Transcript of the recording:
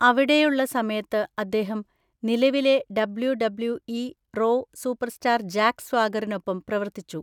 അവിടെയുള്ള സമയത്ത് അദ്ദേഹം നിലവിലെ ഡബ്ള്യുഡബ്ള്യുഇ റോ സൂപ്പർസ്റ്റാർ ജാക്ക് സ്വാഗറിനൊപ്പം പ്രവർത്തിച്ചു.